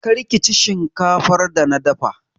Kar kici shinkafar da na dafa!